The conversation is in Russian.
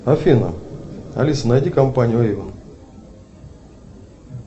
афина алиса найди компанию эйвон